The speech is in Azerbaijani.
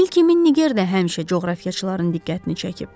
Nil kimi Nigerdə həmişə coğrafiyaçılarının diqqətini çəkib.